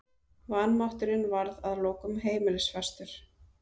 Vanmátturinn varð að lokum heimilisfastur.